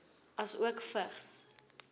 asook vigs